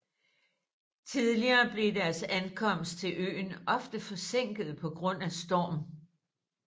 Tidligere blev deres ankomst til øen ofte forsinket på grund af storm